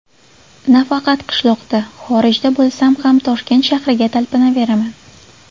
Nafaqat qishloqda, xorijda bo‘lsam ham Toshkent shahriga talpinaveraman.